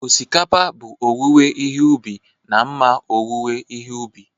Osikapa bụ owuwe ihe ubi na mma owuwe ihe ubi